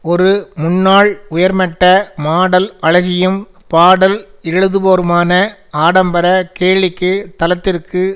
ஒரு முன்னாள் உயர்மட்ட மாடல் அழகியும் பாடல் எழுதுபவருமான ஆடம்பர கேளிக்கை தலத்திற்கு